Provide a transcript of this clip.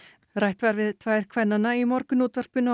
rætt var við tvær kvennanna í Morgunútvarpinu